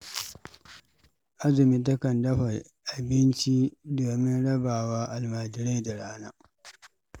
Azumi takan dafa abinci domin raba wa almajirai da rana.